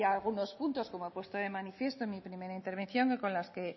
hay algunos puntos como he puesto de manifiesto en mi primera intervención con las que